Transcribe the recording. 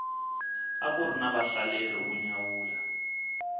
akuri na vahlaleri vo nyawula